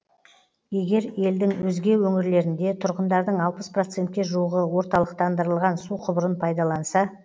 егер елдің өзге өңірлерінде тұрғындардың алпыс процентке жуығы орталықтандырылған су құбырын пайдаланса